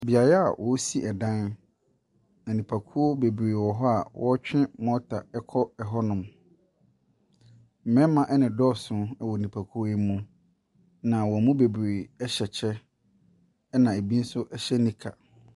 Beaeɛ a ɔresi ɛdan. Nnipakuo bebree wɔ hɔ a wɔretwe mortar ɛkɔ ɛhɔ nom. Mmarimma na dɔɔso wɔ nnipakuo yi mu na wɔn mu bebree ɛhyɛ kyɛ na ebi nso hyɛ nika.